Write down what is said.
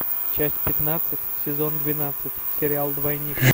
часть пятнадцать сезон двенадцать сериал двойник